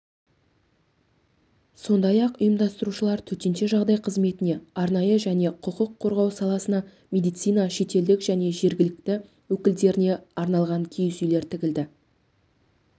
сондай-ақ ұйымдастырушылар төтенше жағдай қызметіне арнайы және құқық қорғау саласына медицина шетелдік және жергілікті өкілдеріне арналған киіз үйлер тігілді